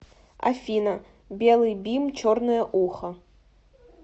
афина белый бим черное ухо